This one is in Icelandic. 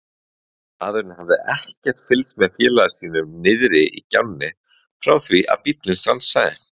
Maðurinn hafði ekkert fylgst með félaga sínum niðri í gjánni frá því bíllinn stansaði.